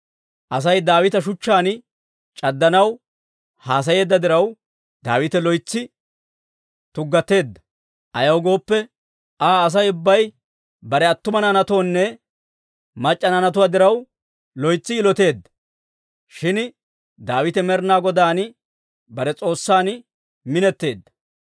Asay Daawita shuchchaan c'addanaw haasayeedda diraw, Daawite loytsi tuggateedda; ayaw gooppe, Aa Asay ubbay bare attumawaa naanaynne mac'c'a naanatuwaa diraw, loytsi yiloteedda; shin Daawite Med'inaa Godaan bare S'oossan minetteedda.